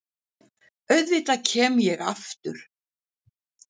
Auðvitað kem ég aftur.